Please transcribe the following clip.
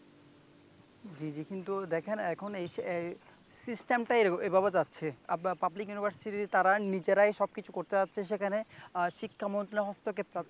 জী জী, কিন্তু দেখেন এখন এই system টাই এভাবে চাচ্ছে, পাবলিক university র তারা নিজেরাই সবকিছু করতে চাচ্ছে সেখানে শিক্ষা মন্ত্রালয় হস্তক্ষেপ চাচ্ছে।